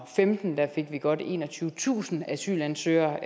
femten fik vi godt enogtyvetusind asylansøgere